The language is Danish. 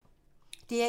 DR1